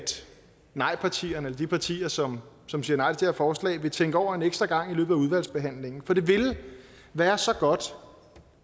nejpartierne de partier som som siger nej til det her forslag vil tænke over det en ekstra gang i løbet af udvalgsbehandlingen for det ville være så godt